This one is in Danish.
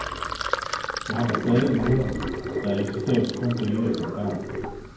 Jeg har da stadig noderne, der eksisterer vist kun det ene eksemplar.